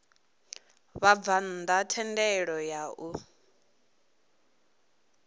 vhabvann ḓa thendelo ya u